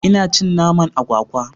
Ina cin naman agwagwa.